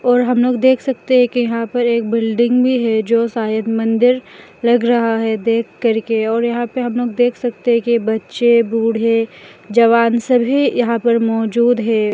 और हम लोग देख सकते हैं कि यहां पर एक बिल्डिंग भी है जो शायद मंदिर लग रहा है देख करके और यहां पे हम लोग देख सकते हैं कि बच्चे बूढ़े जवान सभी यहां पर मौजूद है।